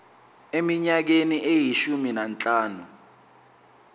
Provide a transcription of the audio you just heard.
eminyakeni eyishumi nanhlanu